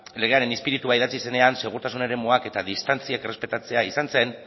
legearen ispiritua idatzi zenean segurtasun eremuak eta distantziak errespetatzea izan zen